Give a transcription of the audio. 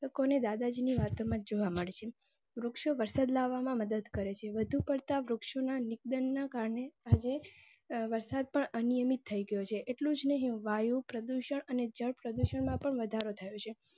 અને દાદાજીની વાતોમાં જોવા મળે છે. વૃક્ષો વરસાદ લાવા માં મદદ કરે છે. વધુ પડતા વૃક્ષો ના નિધનના કારણે આજે વરસાદ પણ અનિયમિત થઈ ગયોછે. એટલું જ નહિ વાયુ પ્રદૂષણ અને જળ પ્રદૂષણમાં પણ વધારો થયો છે.